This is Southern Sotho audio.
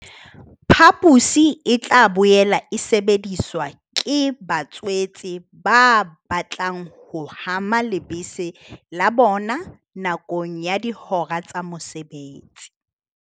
Phaposi e tla boela e sebediswa ke ba tswetse ba batlang ho hama lebese la bona nakong ya dihora tsa mosebetsi.